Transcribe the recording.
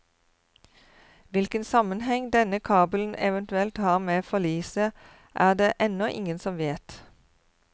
Hvilken sammenheng denne kabelen eventuelt har med forliset, er det ennå ingen som vet.